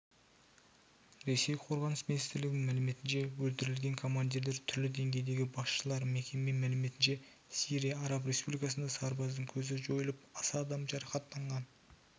ресей қорғаныс министрлігінің мәліметінше өлтірілген командирлер түрлі деңгейдегі басшылар мекеме мәліметінше сирия араб республикасында сарбаздың көзі жойылып аса адам жарақаттанған